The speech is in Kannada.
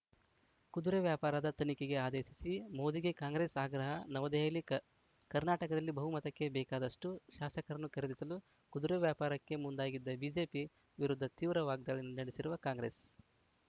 ಕುದುರೆ ವ್ಯಾಪಾರದ ತನಿಖೆಗೆ ಆದೇಶಿಸಿ ಮೋದಿಗೆ ಕಾಂಗ್ರೆಸ್‌ ಆಗ್ರಹ ನವದೆಹಲಿ ಕ ಕರ್ನಾಟಕದಲ್ಲಿ ಬಹುಮತಕ್ಕೆ ಬೇಕಾದಷ್ಟುಶಾಸಕರನ್ನು ಖರೀದಿಸಲು ಕುದುರೆ ವ್ಯಾಪಾರಕ್ಕೆ ಮುಂದಾಗಿದ್ದ ಬಿಜೆಪಿ ವಿರುದ್ಧ ತೀವ್ರ ವಾಗ್ದಾಳಿ ನಡೆಸಿರುವ ಕಾಂಗ್ರೆಸ್‌